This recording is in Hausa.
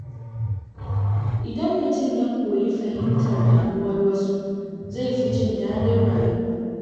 Idan mutum ya koyi fahimtar damuwar wasu, zai fi jin daɗin rayuwa.